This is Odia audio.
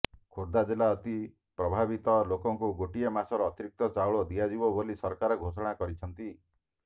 ଖୋର୍ଦ୍ଧା ଜିଲ୍ଲାରେ ଅତି ପ୍ରଭାବିତ ଲୋକଙ୍କୁ ଗୋଟିଏ ମାସର ଅତିରିକ୍ତ ଚାଉଳ ଦିଆଯିବ ବୋଲି ସରକାର ଘୋଷଣା କରିଛନ୍ତି